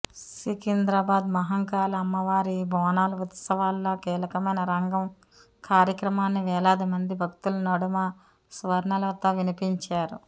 సికింద్రాబాద్ మహంకాళి అమ్మవారి బోనాలు ఉత్సవాల్లో కీలకమైన రంగం కార్యక్రమాన్ని వేలాదిమంది భక్తుల నడుమ స్వర్ణలత వినిపించారు